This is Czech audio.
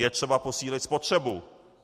Je třeba posílit spotřebu.